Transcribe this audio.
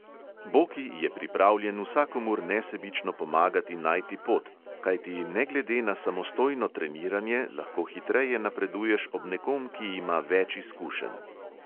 Boki je pripravljen vsakomur nesebično pomagati najti pot, kajti ne glede na samostojno treniranje lahko hitreje napreduješ ob nekom, ki ima več izkušenj.